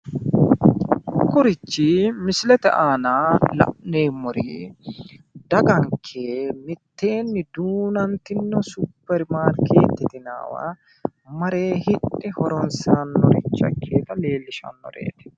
kunirichi misilete aana la'neemmori daganke miteenni duunantino superimarkeetete yinanniwa mare hidhe horonsirannoricho ikkeyoota leelishshannoreeti